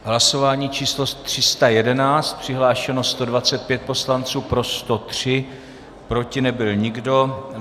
Hlasování číslo 311, přihlášeno 125 poslanců, pro 103, proti nebyl nikdo.